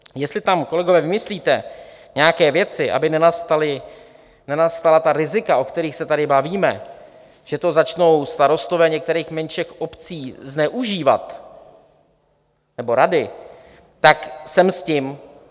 Jestli tam, kolegové, vymyslíte nějaké věci, aby nenastala ta rizika, o kterých se tady bavíme, že to začnou starostové některých menších obcí zneužívat, nebo rady, tak sem s tím.